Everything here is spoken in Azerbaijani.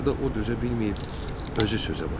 Axırda o dözə bilməyib özü sözə başladı.